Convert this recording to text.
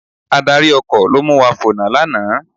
Adarí ọkọ̀ ló mu wa fònà lánàá